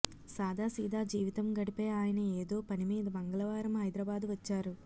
సాదాసీదా జీవితం గడిపే ఆయన ఏదో పనిమీద మంగళవారం హైదరాబాద్ వచ్చారు